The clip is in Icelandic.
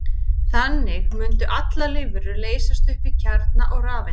Þannig mundu allar lífverur leysast upp í kjarna og rafeindir.